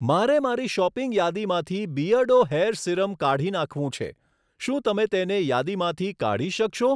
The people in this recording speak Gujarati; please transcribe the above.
મારે મારી શોપિંગ યાદીમાંથી બીઅર્ડો હેર સીરમ કાઢી નાખવું છે, શું તમે તેને યાદીમાંથી કાઢી શકશો?